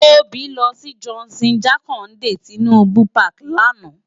Tobi lò si Johnson Jakande Tinubu pàki làná